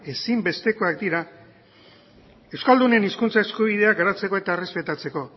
ezinbestekoak dira euskaldunen hizkuntza eskubideak garatzeko eta errespetatzeko